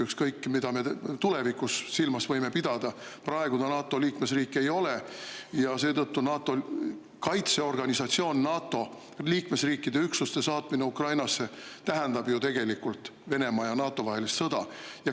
Ükskõik mida me tuleviku mõttes silmas võime pidada, praegu ta NATO liikmesriik ei ole ja seetõttu NATO, kaitseorganisatsiooni NATO liikmesriikide üksuste saatmine Ukrainasse tähendaks ju tegelikult Venemaa ja NATO vahelist sõda.